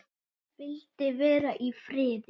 Vildi vera í friði.